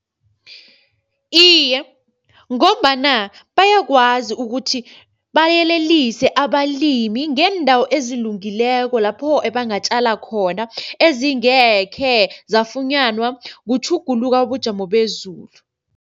Iye ngombana bayakwazi ukuthi bayelelise abalimi ngeendawo ezilungileko lapho ebangatjala khona, ezingekhe zafunyanwa kutjhuguluka kobujamo bezulu.